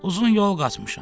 Uzun yol qaçmışam.